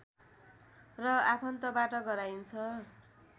र आफन्तबाट गराइन्छ